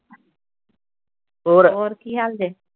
ਹੋਰ ਕੀ ਹਾਲ ਜੇ